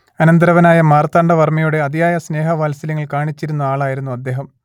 അനന്തരവനായ മാർത്താണ്ഡവർമ്മയോട് അതിയായ സ്നേഹവാത്സല്യങ്ങൾ കാണിച്ചിരുന്ന ആളായിരുന്നു അദേഹം